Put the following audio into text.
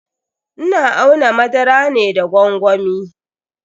Ina auna madara ne da gwangwami.